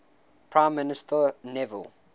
prime minister neville